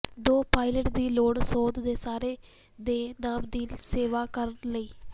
ਦੋ ਪਾਇਲਟ ਦੀ ਲੋੜ ਸੋਧ ਦੇ ਸਾਰੇ ਦੇ ਨਾਮ ਦੀ ਸੇਵਾ ਕਰਨ ਲਈ